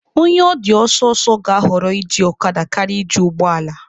Onye ọ dị ọsọ ọsọ ga-ahọrọ iji ọkada karịa iji ụgbọ ala.